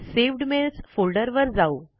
सवेद mails folder वर जाऊ